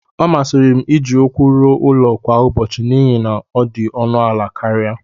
ọ masịrị m iji ụkwụ ruo ụlọ kwa ụbọchị n'ihi na ọ dị ọnụ ala karịa